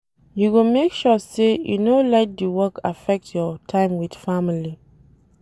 You go make sure sey you no let di work affect your time wit family.